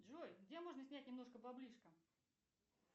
джой где можно снять немножко баблишка